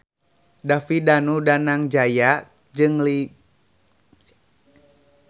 David Danu Danangjaya jeung Jimmy Lin keur dipoto ku wartawan